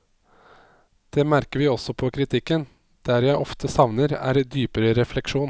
Det merker vi også på kritikken, der jeg ofte savner er dypere refleksjon.